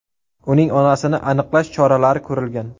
Uning onasini aniqlash choralari ko‘rilgan.